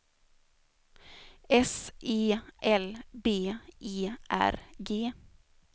S E L B E R G